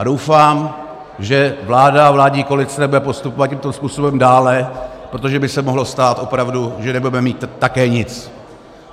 A doufám, že vláda a vládní koalice nebude postupovat tímto způsobem dále, protože by se mohlo stát opravdu, že nebudeme mít také nic.